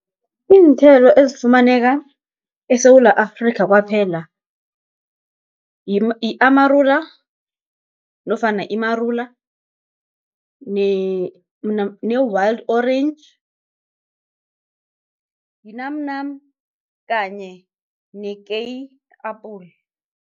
Iinthelo ezifumaneka eSewula Afrika kwaphela, yi-amarula nofana imarula, ne-wild orange, yinamnam, kanye nekeyi-apula.